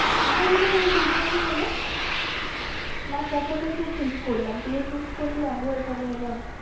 আমার এটাতে ওই দু বছর হলো last এক সাথেই তো switch করলাম তুইও switch করলি আমিও এখানে এলাম।